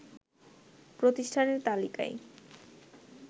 প্রতিষ্ঠানের তালিকায়